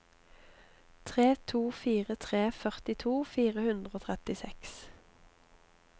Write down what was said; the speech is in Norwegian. tre to fire tre førtito fire hundre og trettiseks